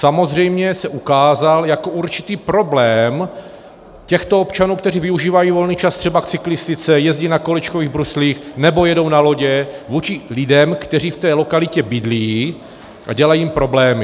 Samozřejmě se ukázal jako určitý problém těchto občanů, kteří využívají volný čas třeba k cyklistice, jezdí na kolečkových bruslích nebo jedou na lodě, vůči lidem, kteří v té lokalitě bydlí, a dělají jim problémy.